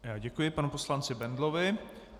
Děkuji panu poslanci Bendlovi.